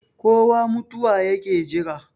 kowa mutuwa yake Jira